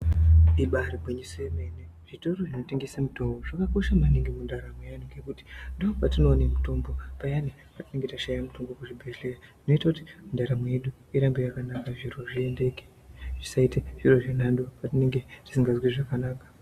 Ibairi ngwinyiso yemene zvitoro zvino tengese mitombo zvakakosha maningi mundaramo ye antu ngekuti ndo kwatino ona mitombo payani patinenge tashaya mutombo ku zvibhedhleya zvinoita kuti ndaramo yedu irambe yakanaka zviro zviendeke zvisaite zviro zve nhando patinenge tisingazwi zvakanaka.